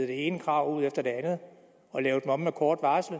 det ene krav efter det andet og lave dem om med kort varsel